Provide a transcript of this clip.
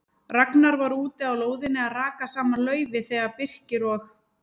Ragnar var úti á lóðinni að raka saman laufi þegar Birkir og